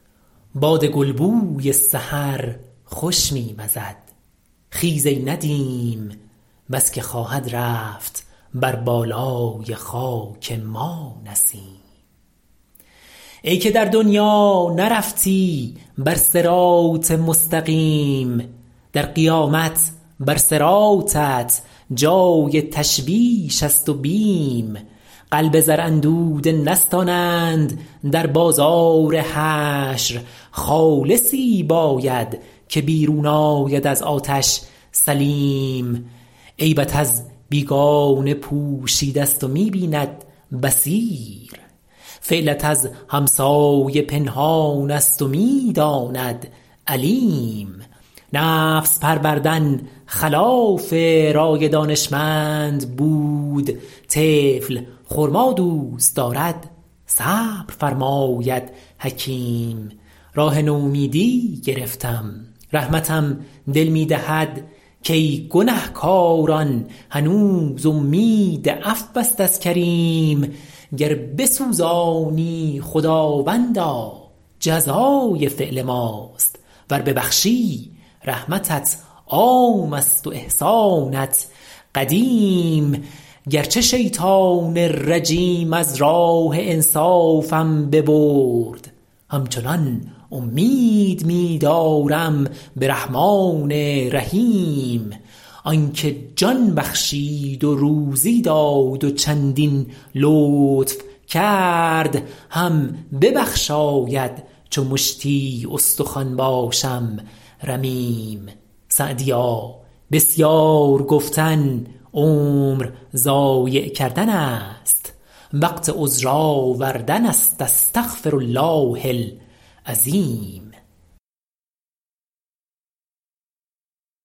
باد گلبوی سحر خوش می وزد خیز ای ندیم بس که خواهد رفت بر بالای خاک ما نسیم ای که در دنیا نرفتی بر صراط مستقیم در قیامت بر صراطت جای تشویش است و بیم قلب زر اندوده نستانند در بازار حشر خالصی باید که بیرون آید از آتش سلیم عیبت از بیگانه پوشیده ست و می بیند بصیر فعلت از همسایه پنهان است و می داند علیم نفس پروردن خلاف رای دانشمند بود طفل خرما دوست دارد صبر فرماید حکیم راه نومیدی گرفتم رحمتم دل می دهد کای گنه کاران هنوز امید عفو است از کریم گر بسوزانی خداوندا جزای فعل ماست ور ببخشی رحمتت عام است و احسانت قدیم گرچه شیطان رجیم از راه انصافم ببرد همچنان امید می دارم به رحمان رحیم آن که جان بخشید و روزی داد و چندین لطف کرد هم ببخشاید چو مشتی استخوان باشم رمیم سعدیا بسیار گفتن عمر ضایع کردن است وقت عذر آوردن است استغفرالله العظیم